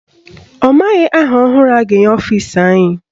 Ọ maghị aha ọhụrụ a ga-enye ọfisi anyị.